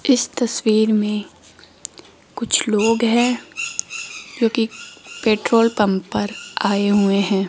इस तस्वीर में कुछ लोग हैं जोकि पेट्रोल पंप पर आए हुए हैं।